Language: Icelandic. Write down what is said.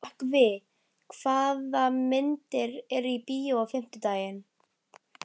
Rökkvi, hvaða myndir eru í bíó á fimmtudaginn?